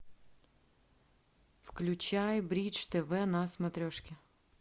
включай бридж тв на смотрешке